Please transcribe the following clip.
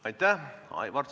Aitäh!